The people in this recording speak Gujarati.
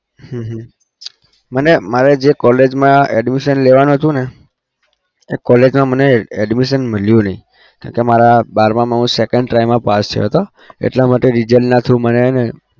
હમ હમ મને મારે જે college મા admission લેવાનું હતું ને એ college મા admission મળ્યું નહિ. કેમ કે મારા બારમા હું second try મા પાસ થયો હતો એટલા માટે result ના through મને હે ને